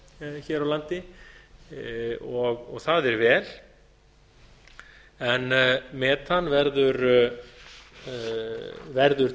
biodísel hér á landi og það er vel en metan verður